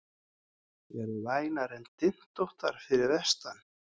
Eru vænar en dyntóttar fyrir vestan